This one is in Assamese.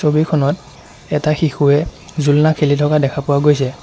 ছবিখনত এটা শিশুয়ে জোলনা খেলি থকা দেখা পোৱা গৈছে।